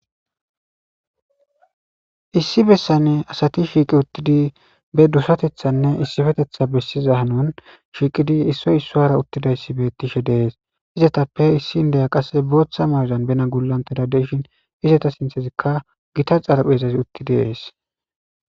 issi bessane asati shiiqi uttidi be dusatethanne issifetetha bessiza hanon shiiqidi issoy isso hara uttidayssi bettishe dees izetappe issi indeya qasse booththa mardan bena gulanteda deshin izeta sinthezikka gita xarpheezazi utti dees